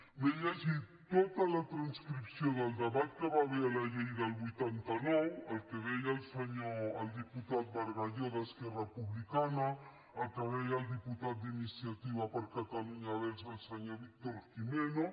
m’he llegit tota la transcripció del debat que hi haver a la llei del vuitanta nou el que deia el diputat bargalló d’esquerra republicana el que deia el diputat d’iniciativa per catalunya verds el senyor víctor gimeno